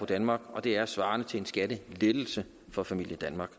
danmark og det er svarende til en skattelettelse for familien danmark